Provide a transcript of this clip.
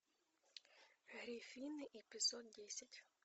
гриффины эпизод десять